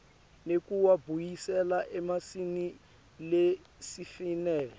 nekuwabuyisela esimeni lesifanele